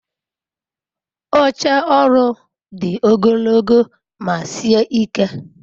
oche oru di ogologo ma sie ike